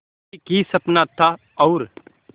एक ही सपना था और